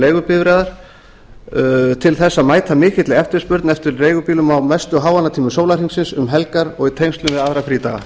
leigubifreiðar til þess að mæta mikilli eftirspurn eftir leigubílum á mestu háannatímum sólarhringsins um helgar og í tengslum við aðra frídaga